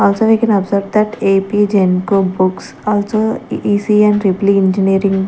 also we can observe that apgenco books also ECE and triple E engineering--